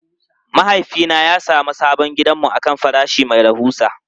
Mahaifina ya sami sabon gidanmu akan farashi mai rahusa.